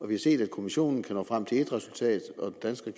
vi se at kommissionen kan nå frem til et resultat og den danske